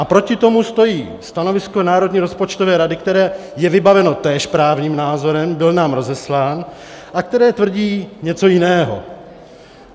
A proti tomu stojí stanovisko Národní rozpočtové rady, které je vybaveno též právním názorem, byl nám rozeslán, a které tvrdí něco jiného.